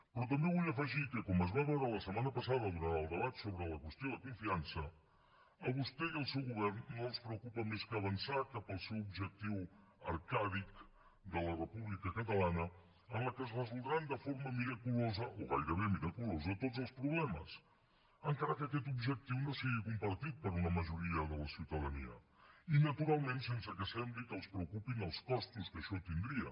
però també vull afegir que com es va veure la setmana passada durant el debat sobre la qüestió de confiança a vostè i al seu govern no els preocupa res més que avançar cap al seu objectiu arcàdic de la república catalana en què es resoldran de forma miraculosa o gairebé miraculosa tots els problemes encara que aquest objectiu no sigui compartit per una majoria de la ciutadania i naturalment sense que sembli que els preocupin els costos que això tindria